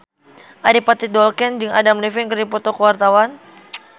Adipati Dolken jeung Adam Levine keur dipoto ku wartawan